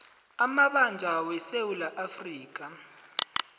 amabanjwa wesewula afrika